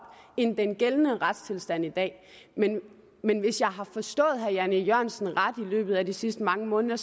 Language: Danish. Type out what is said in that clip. end den gældende retstilstand i dag men men hvis jeg har forstået herre jan e jørgensen ret i løbet af de sidste mange måneder